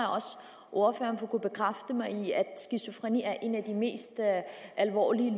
ordføreren vil kunne bekræfte mig i at skizofreni er en af de mest alvorlige